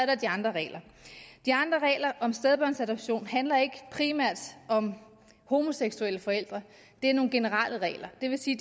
er de andre regler de andre regler om stedbørnsadoption handler ikke primært om homoseksuelle forældre det er nogle generelle regler det vil sige